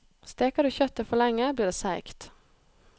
Steker du kjøttet for lenge, blir det seigt.